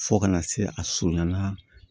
Fo kana se a surunyana